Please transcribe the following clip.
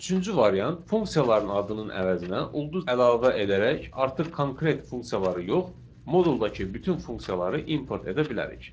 Üçüncü variant funksiyaların adının əvəzinə ulduz əlavə edərək artıq konkret funksiyaları yox, moduldakı bütün funksiyaları import edə bilərik.